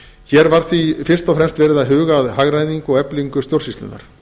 hér var því fyrst og fremst verið að huga að hagræðingu og eflingu stjórnsýslunnar